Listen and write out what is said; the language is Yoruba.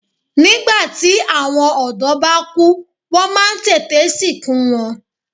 Nígbàtí àwọn ọ̀dọ́ bá kú wọ́n má a ń tètè sìnkú wọn